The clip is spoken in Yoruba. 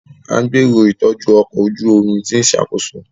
A gbero itọju ọkọ oju omi ti n ṣakoso.